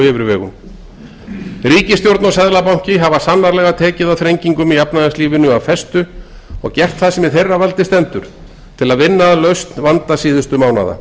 yfirvegun ríkisstjórn og seðlabanki hafa sannarlega tekið á þrengingum í efnahagslífinu af festu og gert það sem í þeirra valdi stendur til að vinna að lausn vanda síðustu mánaða